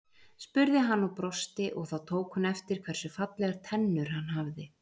spurði hann og brosti og þá tók hún eftir hversu fallegar tennur hann hafði.